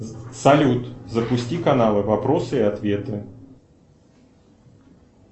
салют запусти каналы вопросы и ответы